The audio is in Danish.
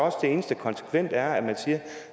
eneste konsekvente er at man siger